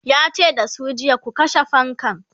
yace da su jiya"ku kashe fankan!'